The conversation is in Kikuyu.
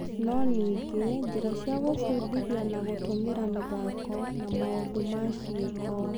No ningĩ, njĩra cia gũbundithia na gũtũmĩra mĩthako na maũndũ ma ciĩko